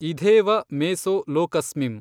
ಇಧೇವ ಮೇಸೋ ಲೋಕಸ್ಮಿಂ